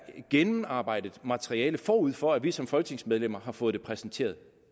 gennemarbejdet materiale forud for at vi som folketingsmedlemmer har fået det præsenteret